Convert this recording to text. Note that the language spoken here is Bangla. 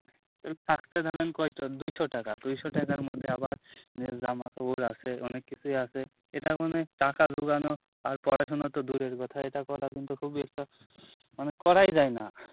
এই ফাকতে ধারেন কয়ট দুইশো টাকা দুইশো টাকার মধ্যে আবার জামা কাপড় আছে অনেককিছুই আছে এটা মনে হয় টাকা যুগানো আর পড়াশুনা তো দূরের কথা এটা করা কিন্তু খুবই একটা মানে করাই যায় না